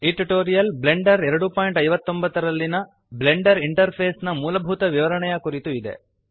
ಈ tutorial Blender 259 ನಲ್ಲಿಯ Blender interface ನ ಮೂಲಭೂತ ವಿವರಣೆಯ ಕುರಿತು ಇದೆ